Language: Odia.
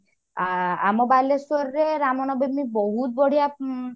ଆ ଆମ ବାଲେଶ୍ଵର ରେ ରାମନବମୀ ବହୁତ ବଢିଆ ଉଁ